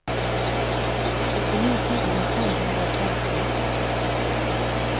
syttini tusen fem hundre og femti